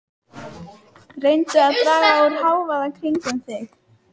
Reyndu að draga úr hávaða kringum þig.